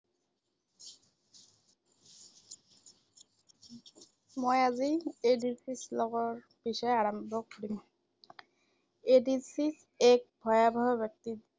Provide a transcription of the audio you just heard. মই আজি এইডছৰ উম বিষয়ে আলোচনা কৰিম। এইডছ এক ভয়াৱহ ব্যাধি